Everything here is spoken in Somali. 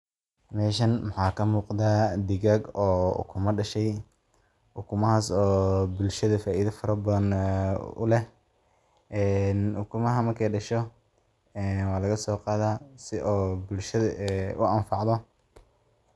Meshan waxa kamugda, digag oo ukuma dashay, ukumaxas oo bulshada faida fara badan ee uleh, ee ukumaxa markay dasho ee walaqasogada sii oo bulshada uanfacdo.